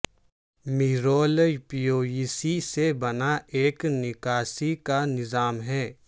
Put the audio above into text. مرول PVC سے بنا ایک نکاسی کا نظام ہے